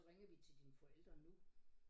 Så ringede vi til dine forældre nu